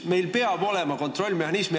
Meil peab olema kontrollmehhanism.